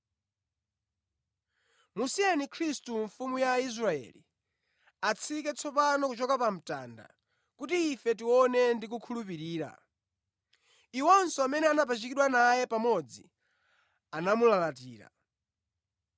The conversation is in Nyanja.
Musiyeni Khristu, Mfumu ya Aisraeli, atsike tsopano kuchoka pa mtanda, kuti ife tione ndi kukhulupirira.” Iwonso amene anapachikidwa naye pamodzi anamulalatira.